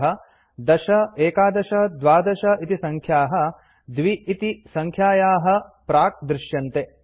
अतः १० ११ १२ इति सङ्ख्याः २ इति सङ्ख्यायाः प्राक्दृश्यन्ते